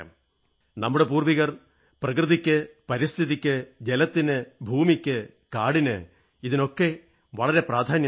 നമ്മുടെ പൂർവ്വികർ പ്രകൃതിക്ക് പരിസ്ഥിതിക്ക് ജലത്തിന് ഭൂമിക്ക് കാടിന് വളരെ പ്രാധാന്യമേകി